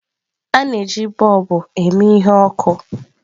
A na-eji bọlbu eme ihe ọkụ.